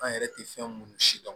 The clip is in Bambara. An yɛrɛ tɛ fɛn minnu si dɔn